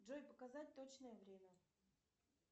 джой показать точное время